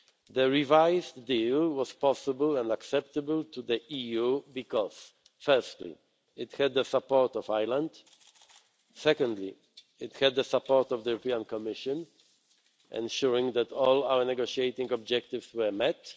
The revised deal was possible and acceptable to the EU because firstly, it had the support of Ireland secondly, it had the support of the Commission, ensuring that all our negotiating objectives were met